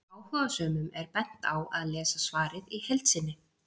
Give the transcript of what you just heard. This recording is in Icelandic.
Áhugasömum er bent á að lesa svarið í heild sinni.